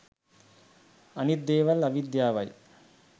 අනිත් දේවල් අවිද්‍යාවයි